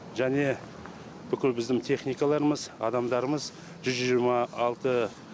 және бүкіл біздің техникаларымыз адамдарымыз жүз жиырма алты